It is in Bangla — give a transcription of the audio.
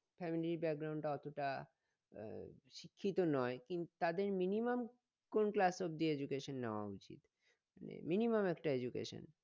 family টা অতটা আহ শিক্ষিত নই কিন্তু তাদের minimum কোন class অবদি education নেওয়া উচিত মানে minimum একটা education